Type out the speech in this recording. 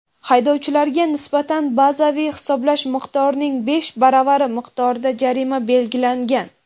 haydovchilarga nisbatan bazaviy hisoblash miqdorining besh baravari miqdorida jarima belgilangan.